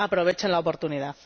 ¡Aprovechen la oportunidad!